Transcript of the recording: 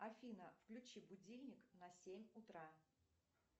афина включи будильник на семь утра